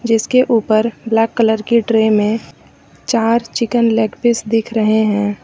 इसके ऊपर black colour की ट्रे में चार चिकन लेग पीस दिख रहे हैं।